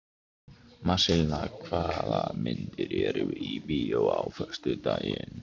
Marselína, hvaða myndir eru í bíó á föstudaginn?